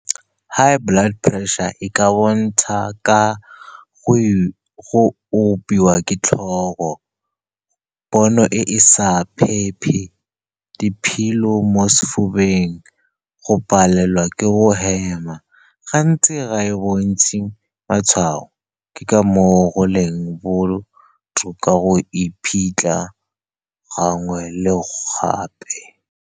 High blood pressure e ka bontsha ka go opiwa ke tlhogo, pono e e sa , diphilo mo sefubeng, go palelwa ke go hema. Gantsi ga e bontshe matshwao, ke ka moo go leng botlhokwa go iphitlha gangwe le gape.